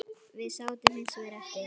Við sátum hins vegar eftir.